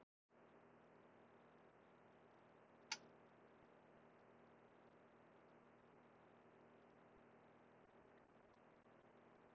Ég fann til innilokunarkenndar og tilgangsleysis í síendurteknum handahreyfingum daginn út og inn.